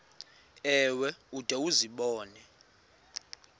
ewe ude uzibone